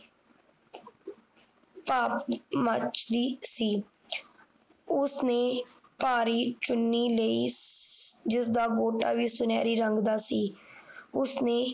ਭਾਵ ਮੱਚਦੀ ਸੀ ਉਸਨੇ ਇਕ ਭਾਰੀ ਚੂਨੀ ਲਈ ਜਿਸ ਦਾ ਗੋਟਾਂ ਵੀ ਸੁਨਹਿਰੀ ਰੰਗ ਦਾ ਸੀ ਉਸਨੇ